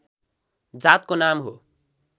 जातको नाम हो